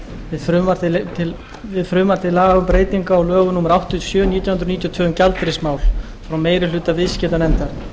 við frumvarp til laga um breytingu á lögum númer áttatíu og sjö nítján hundruð níutíu og tvö um gjaldeyrismál frá meiri hluta viðskiptanefndar